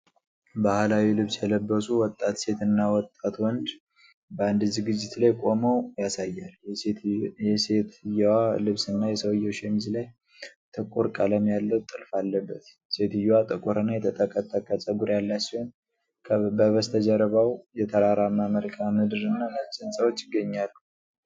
ባህላዊ ልብስ የለበሱ ወጣት ሴት እና ወጣት ወንድ በአንድ ዝግጅት ላይ ቆመው ያሳያል። የሴትየዋ ልብስና የሰውየው ሸሚዝ ላይ ጥቁር ቀለም ያለው ጥልፍ አለበት። ሴትዮዋ ጥቁር እና የተጠቀጠቀ ፀጉር ያላት ሲሆን፤ በበስተጀርባው የተራራማ መልክዓ ምድርና ነጭ ሕንፃዎች ይገኛሉ።